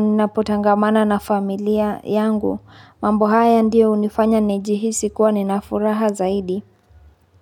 ninapotangamana na familia yangu. Mambo haya ndiyo hunifanya nijihisi kuwa nina furaha zaidi.